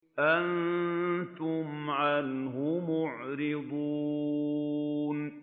أَنتُمْ عَنْهُ مُعْرِضُونَ